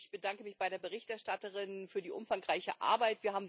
Ich bedanke mich bei der Berichterstatterin für die umfangreiche Arbeit.